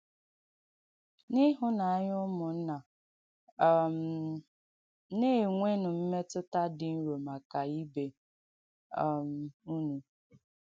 “N’īhụ́nànya ùmùnnà, um na-ènwènū mmetụ̀tà dī nro maka ibe um ūnụ̀.